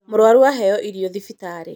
mũrwaru aheo irio cia thibitarĩ